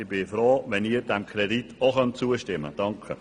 Ich bin froh, wenn Sie dem Kredit auch zustimmen können.